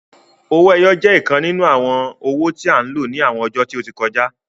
Owó ẹyọ je ìkan nínú àrà awọn owó tí a n ló ní àwọn ọjó tí o tí kọjá